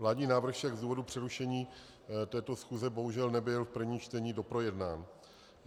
Vládní návrh však z důvodu přerušení této schůze bohužel nebyl v prvním čtení doprojednán.